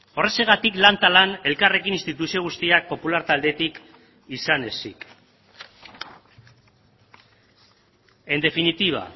horrexegatik lan eta lan elkarrekin instituzio guztiak popular taldetik izan ezik en definitiva